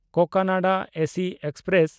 Cocanada AC express